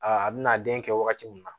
Aa a bɛna den kɛ wagati min na